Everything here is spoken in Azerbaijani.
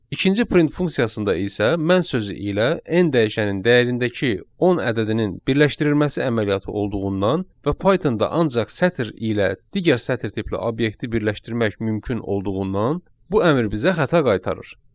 İkinci print funksiyasında isə mən sözü ilə n dəyişənin dəyərindəki 10 ədədinin birləşdirilməsi əməliyyatı olduğundan və Pythonda ancaq sətr ilə digər sətr tipli obyekti birləşdirmək mümkün olduğundan, bu əmr bizə xəta qaytarır.